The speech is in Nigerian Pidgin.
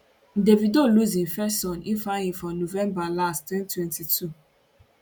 davido lose im first son ifeanyi for november last 2022